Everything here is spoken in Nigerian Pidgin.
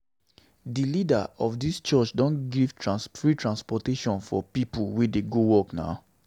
Di leader of dis church don dey give free transportation for pipu wey dey go work.